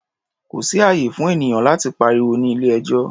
Kò sí ààyè fún ènìyàn láti pariwo ní ilé-ẹjọ́.